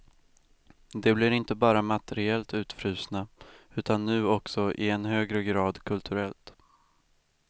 De blir inte bara materiellt utfrusna, utan nu också i än högre grad kulturellt.